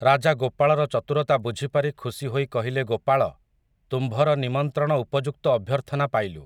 ରାଜା ଗୋପାଳର ଚତୁରତା ବୁଝି ପାରି ଖୁସି ହୋଇ କହିଲେ ଗୋପାଳ, ତୁମ୍ଭର ନିମନ୍ତ୍ରଣ ଉପଯୁକ୍ତ ଅଭ୍ୟର୍ଥନା ପାଇଲୁ ।